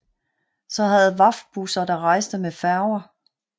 Så havde VAFT busser der rejste med Færger